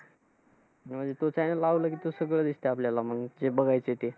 म्हणजे तो channel लावलं की ते सगळं दिसतं आपल्याला मंग, जे बघायचं ते